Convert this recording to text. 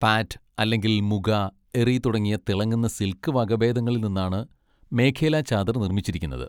പാറ്റ് അല്ലെങ്കിൽ മുഗ, എറി തുടങ്ങിയ തിളങ്ങുന്ന സിൽക്ക് വകഭേദങ്ങളിൽ നിന്നാണ് മേഖേല ചാദർ നിർമ്മിച്ചിരിക്കുന്നത്.